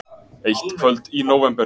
Eitt kvöld í nóvember.